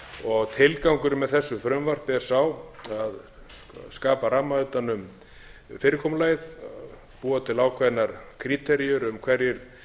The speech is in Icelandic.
vera tilgangurinn með þessu frumvarpi er sá að skapa ramma utan um fyrirkomulagið búa til ákveðnar kríteríur um hverjir